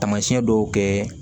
Taamasiyɛn dɔw kɛ